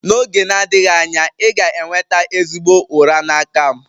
N'oge na-adịghị anya, ị ga-enweta ezigbo ụra n'aka m.